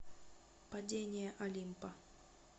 падение олимпа